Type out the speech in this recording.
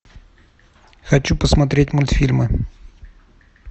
хочу посмотреть мультфильмы